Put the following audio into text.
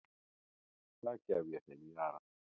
Það gef ég þeim í arf.